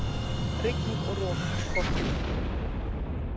Rigning og rok í kortunum